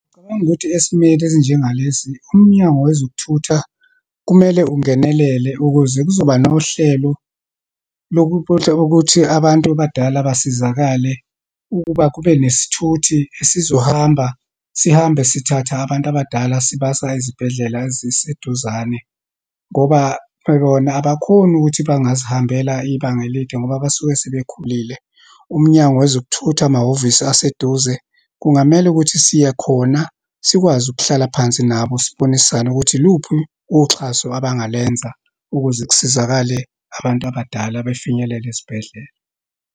Ngicabanga ukuthi esimeni esinjengalesi, uMnyango wezokuThutha kumele ungenelele ukuze kuzoba nohlelo lokuthutha, ukuthi abantu abadala basizakale ukuba kube nesithuthi esizohamba, sihambe sithathe abantu abadala sibasa ezibhedlela eziseduzane. Ngoba bona abakhoni ukuthi bangazihambela ibanga elide ngoba basuke sebekhulile. UMnyango wezokuThutha, amahhovisi aseduze, kungamele ukuthi siye khona, sikwazi ukuhlala phansi nabo sibonisane ukuthi iluphi uxhaso abangalenza ukuze kusizakale abantu abadala, befinyelele esibhedlela.